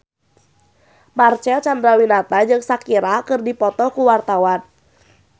Marcel Chandrawinata jeung Shakira keur dipoto ku wartawan